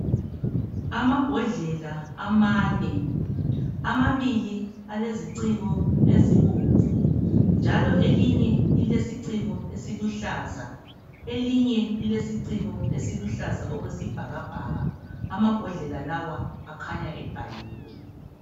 Amabhodlela amane, amabili aleziciko ezibomvu, njalo elinye lilesiciko esiluhlaza, elinye lilesiciko esiluhlaza okwesibhakabhaka. Amabhodlela lawa akhanya ebhaliwe.